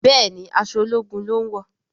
Béèni aṣọ ológun lón wọ.